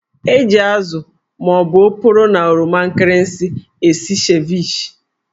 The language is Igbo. Eji ázụ́ ma ọ bụ oporo na oroma nkịrịsị. esi Ceviche